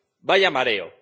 ¡Vaya mareo!